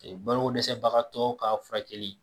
Ee balo ko dɛsɛ bagatɔ ka furakɛli.